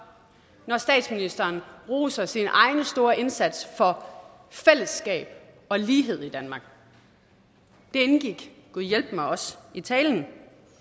når statsministeren roser sin egen store indsats for fællesskab og lighed i danmark det indgik gudhjælpemig også i talen